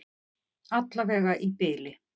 Allavega í bili.